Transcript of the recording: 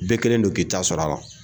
Bɛɛ kɛlen don k'i taa sɔrɔ'la.